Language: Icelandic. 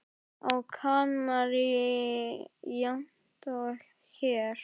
Á Kanarí jafnt og hér.